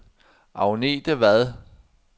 Agnethe Vad